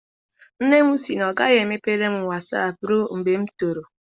Nne m sị na ọ gaghị emepere m wasaapụ rụe mgbe m toro.